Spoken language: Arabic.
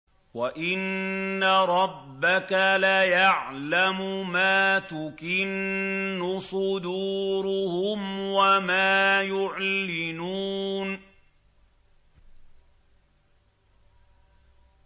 وَإِنَّ رَبَّكَ لَيَعْلَمُ مَا تُكِنُّ صُدُورُهُمْ وَمَا يُعْلِنُونَ